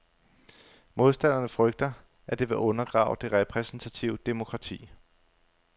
Modstanderne frygter, at det vil undergrave det repræsentative demokrati.